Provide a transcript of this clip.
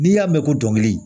N'i y'a mɛn ko dɔnkili